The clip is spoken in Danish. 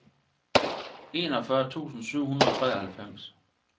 enogfyrre tusind syv hundrede og treoghalvfems